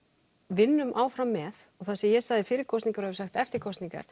vinnum áfram með og það sem ég sagði fyrir kosningar og hef sagt eftir kosningar